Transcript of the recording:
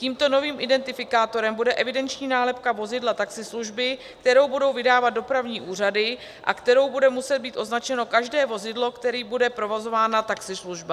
Tímto novým identifikátorem bude evidenční nálepka vozidla taxislužby, kterou budou vydávat dopravní úřady a kterou bude muset být označeno každé vozidlo, kterým bude provozována taxislužba.